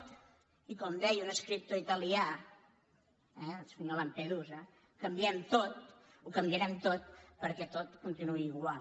i com deia un escriptor italià eh el senyor di lam·pedusa ho canviarem tot perquè tot continuï igual